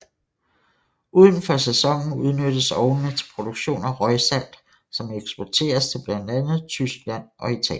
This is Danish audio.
Uden for sæsonen udnyttes ovnene til produktion af røgsalt som eksporteres til blandt andet Tyskland og Italien